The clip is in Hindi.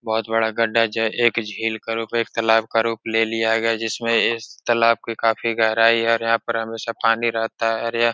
बोहोत बड़ा गड्ढा एक झील का रूप एक तालाब का रूप ले लिया गया जिसमें इस तालाब के काफी गहराई है और यहाँ पर हमेशा पानी रहता है और यह --